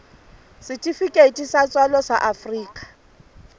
setifikeiti sa tswalo sa afrika